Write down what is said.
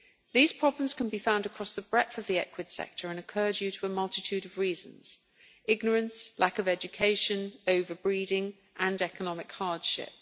These problems can be found across the breadth of the equid sector and occur due to a multitude of reasons ignorance, lack of education, over breeding and economic hardship.